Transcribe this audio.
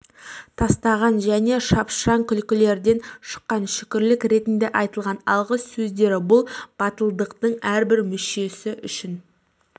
тастаған және шапшаң күлкілерден шыққан шүкірлік ретінде айтылған алғыс сөздері бұл батылдықтың әрбір мүшесі үшін